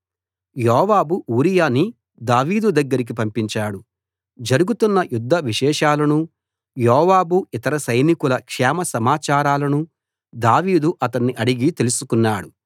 యోవాబు ఊరియాని దావీదు దగ్గరికి పంపించాడు జరుగుతున్న యుద్ధ విశేషాలనూ యోవాబు ఇతర సైనికుల క్షేమ సమాచారాలనూ దావీదు అతణ్ణి అడిగి తెలుసుకున్నాడు